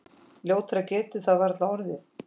Ljótara getur það varla orðið.